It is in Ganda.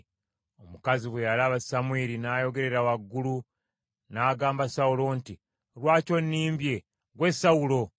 Omukazi bwe yalaba Samwiri, n’ayogerera waggulu, n’agamba Sawulo nti, “Lwaki onimbye? Ggwe Sawulo!”